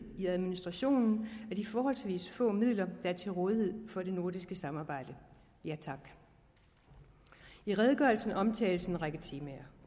i administrationen af de forholdsvis få midler der er til rådighed for det nordiske samarbejde ja tak i redegørelsen omtales en række temaer